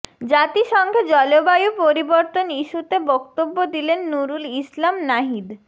জাতিসংঘে জলবায়ু পরিবর্তন ইস্যুতে বক্তব্য দিলেন নুরুল ইসলাম নাহিদ